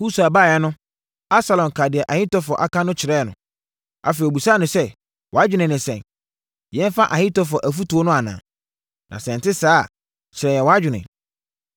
Husai baeɛ no, Absalom kaa deɛ Ahitofel aka no kyerɛɛ no. Afei ɔbisaa no sɛ, “Wʼadwene ne sɛn? Yɛmfa Ahitofel afotuo no anaa? Na sɛ ɛnte saa a, kyerɛ yɛn wʼadwene.”